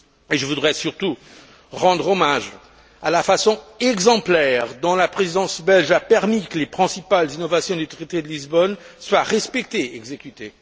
Je voudrais surtout rendre hommage à la façon exemplaire dont la Présidence belge a permis que les principales innovations du traité de Lisbonne soient respectées et exécutées.